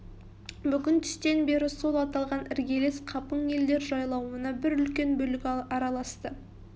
бүгін түстен бері сол аталған іргелес қапың елдер жайлауына бір үлкен бүлік араласты